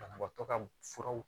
Banabaatɔ ka furaw